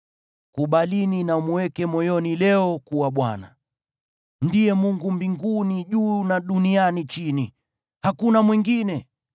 Kubalini na mweke moyoni leo kuwa Bwana ndiye Mungu mbinguni juu na duniani chini. Hakuna mwingine.